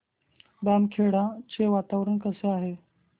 बामखेडा चे वातावरण कसे आहे